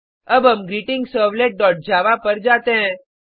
अब हम greetingservletजावा पर जाते हैं